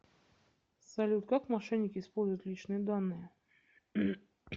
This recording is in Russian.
салют как мошенники используют личные данные